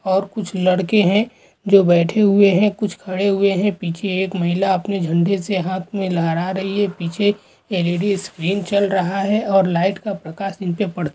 और कुछ लड़के है। जो बैठे हुए है। और खड़े हुए है। पीछे एक महिला झंडे को लहरा रही है। पीछे ल _इ_डी स्क्रीन चल रही है। और लाइट का प्रकाश इनके प--